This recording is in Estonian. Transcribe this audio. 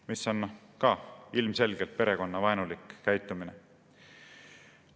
See on ka ilmselgelt perekonnavaenulik käitumine.